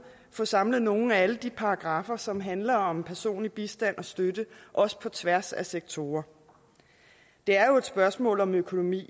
få samlet nogle af alle de paragraffer som handler om personlig bistand og støtte også på tværs af sektorer det er jo et spørgsmål om økonomi